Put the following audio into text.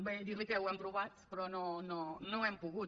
bé dir li que ho hem provat però no hem pogut